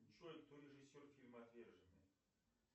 джой кто режиссер фильма отверженные